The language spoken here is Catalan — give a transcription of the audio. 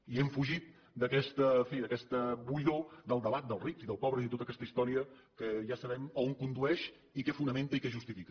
i hem fugit d’aquesta en fi buidor del debat dels rics i dels pobres i tota aquesta història que ja sabem on condueix i què fonamenta i què justifica